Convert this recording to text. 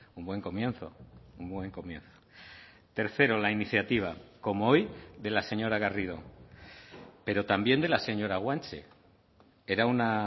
un buen comienzo un buen comienzo tercero la iniciativa como hoy de la señora garrido pero también de la señora guanche era una